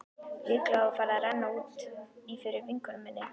Líklega var farið að renna út í fyrir vinkonu minni.